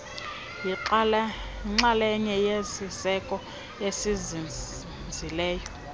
yixalenye yesiseko esinzinzileyo